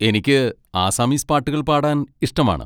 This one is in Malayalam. എനിക്ക് ആസാമീസ് പാട്ടുകൾ പാടാൻ ഇഷ്ടമാണ്.